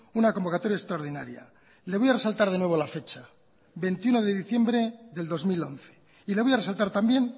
una convocatoria extraordinaria le voy a resaltar de nuevo la fecha veintiuno de diciembre del dos mil once y le voy a resaltar también